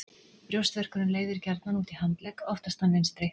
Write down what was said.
Brjóstverkurinn leiðir gjarnan út í handlegg, oftast þann vinstri.